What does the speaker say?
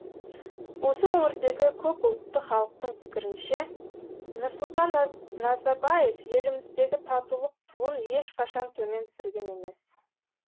осы өңірдегі көпұлтты халықтың пікірінше нұрсұлтан назарбаев еліміздегі татулық туын ешқашан төмен түсірген емес